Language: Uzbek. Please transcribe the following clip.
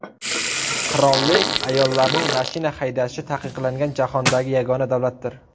Qirollik ayollarning mashina haydashi taqiqlangan jahondagi yagona davlatdir.